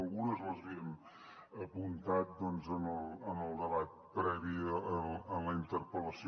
algunes les havien apuntat doncs en el debat previ en la interpel·lació